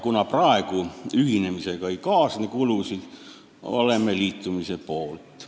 Kuna praegu ühinemisega kulusid ei kaasne, oleme liitumise poolt.